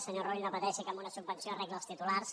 senyor rull no pateixi que amb una subven·ció arregla els titulars